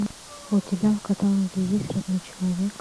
у тебя в каталоге есть родной человек